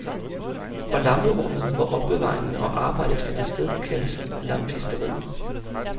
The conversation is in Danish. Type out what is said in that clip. Og lamperummet, hvor opbevaringen og arbejdet finder sted, kaldes lampisteriet.